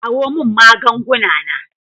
Kawo min maganganu na.